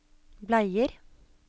bleier